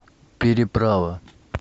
переправа